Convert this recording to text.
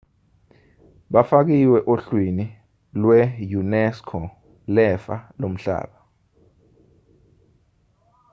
bafakiwe ohlwini lwe-unesco lefa lomhlaba